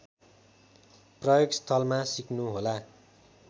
प्रयोगस्थलमा सिक्नुहोला